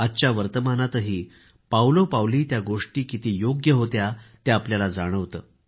आजच्या वर्तमानातही पावलो पावली त्या गोष्टी किती योग्य होत्या ते आपल्याला जाणवतं